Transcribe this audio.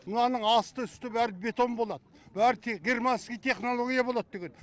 мынаның асты үсті бәрі бетон болад бәрі германский технология болады деген